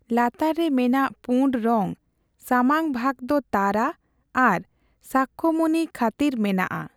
ᱞᱟᱛᱟᱨ ᱨᱮ ᱢᱮᱱᱟᱜ ᱯᱩᱸᱰ ᱨᱚᱝ ᱥᱟᱢᱟᱝ ᱵᱷᱟᱜᱽ ᱫᱚ ᱛᱟᱨᱟ ᱟᱨ ᱥᱟᱠᱭᱚᱢᱩᱱᱤ ᱠᱷᱹᱛᱤᱨ ᱢᱮᱱᱟᱜ ᱟ ᱾